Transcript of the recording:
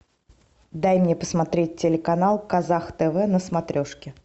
дай мне посмотреть телеканал казах тв на смотрешке